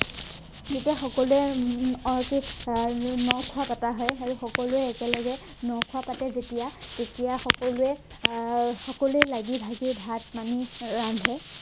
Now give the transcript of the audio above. তেতিয়া সকলোৱে উম আহ এইটো আহ ন-খোৱা পতা হয় আৰু সকলোৱে একেলগে ন-খোৱা পাতে যেতিয়া তেতিয়া সকলোৱে আহ সকলোৱে লাগি ভাগি ভাত পানী ৰান্ধে